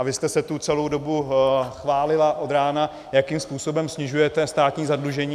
A vy jste se tu celou dobu chválila od rána, jakým způsobem snižujete státní zadlužení.